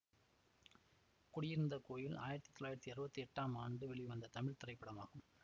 குடியிருந்த கோயில் ஆயிரத்தி தொள்ளாயிரத்தி அறுவத்தி எட்டாம் ஆண்டு வெளிவந்த தமிழ் திரைப்படமாகும்